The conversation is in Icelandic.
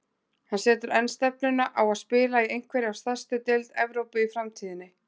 Hann setur enn stefnuna á að spila í einhverri af stærstu deild Evrópu í framtíðinni.